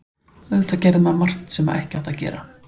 Auðvitað gerði maður margt sem ekki átti að gera.